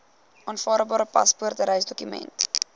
aanvaarbare paspoort reisdokument